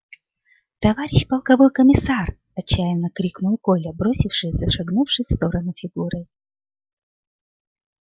товарищ полковой комиссар отчаянно крикнул коля бросившись за шагнувшей в сторону фигурой